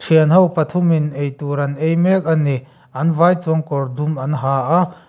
thianho pathumin eitur an ei mek a ni an vai chuan kawr dum an ha a.